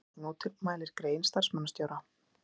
Kastljós mótmælir grein starfsmannastjóra